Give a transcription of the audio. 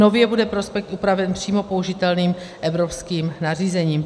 Nově bude prospekt upraven přímo použitelným evropským nařízením.